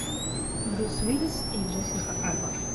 брюс уиллис и джессика альба